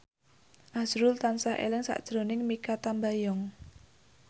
azrul tansah eling sakjroning Mikha Tambayong